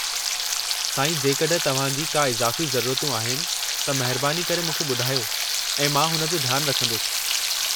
साईं, जेकड॒हिं तव्हां जी का इज़ाफ़ी ज़रूरतूं आहिनि, त महिरबानी करे मूंखे ॿुधायो ऐं मां हुन जो ध्यानु रखंदुसि।